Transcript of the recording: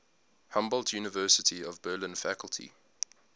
humboldt university of berlin faculty